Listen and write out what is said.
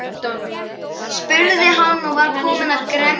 spurði hann og var komin gremja í röddina.